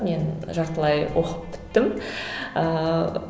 мен жартылай оқып біттім ыыы